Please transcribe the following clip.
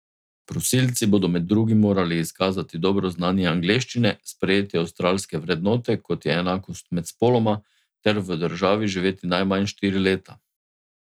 Prosilci bodo med drugim morali izkazati dobro znanje angleščine, sprejeti avstralske vrednote, kot je enakost med spoloma, ter v državi živeti najmanj štiri leta.